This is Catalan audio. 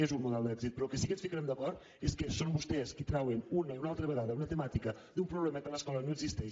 és un model d’èxit però en el que sí que ens ficarem d’acord és que són vostès qui trauen una i una altra vegada una temàtica d’un problema que a l’escola no existeix